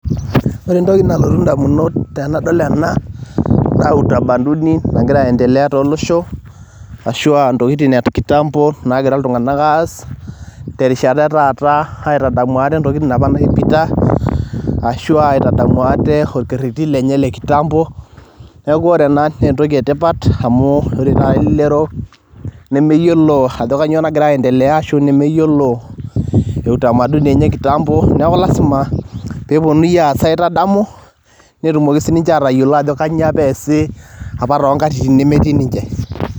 Ore entoki nalotu ndamunot tenadol ena naa utamaduni nagira aiendelea tolosho ashu a ntokitin e kitambo nagira iltung'anak aas terishata e taata aitadamu ate ntokitin apa naipita ashu aa aitadamu ate orkereri lenye le kitambo. Neeku ore ena naa entoki e tipat amu ore taata elelero nemeyiolo ajo kanyo nagira aiendelea ashu nemeyiolo utamaduni enye e kitambo. Neeku lazima pee eponunui aas aitadamu netumoki sininje atayiolo ajo kanyo apa eesi to nkatitin apa nemtetii ninje.